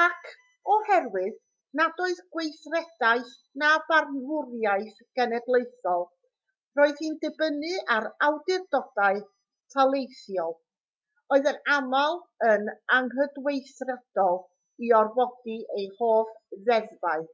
ac oherwydd nad oedd gweithredaeth na barnwriaeth genedlaethol roedd hi'n dibynnu ar awdurdodau taleithiol oedd yn aml yn anghydweithredol i orfodi ei holl ddeddfau